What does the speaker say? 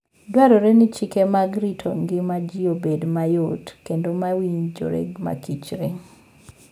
Dwarore ni chike mag rito ngima ji obed mayot kendo ma winjore makichr.